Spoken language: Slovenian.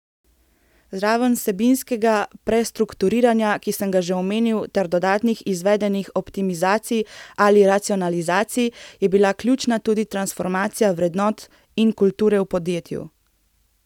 Zraven vsebinskega prestrukturiranja, ki sem ga že omenil, ter dodatnih izvedenih optimizacij ali racionalizacij, je bila ključna tudi transformacija vrednot in kulture v podjetju.